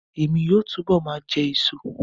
Emi yoo túbọ̀ ma jẹ èso